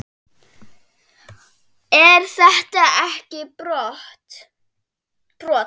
Er þetta ekki brot?